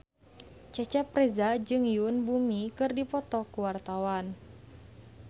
Cecep Reza jeung Yoon Bomi keur dipoto ku wartawan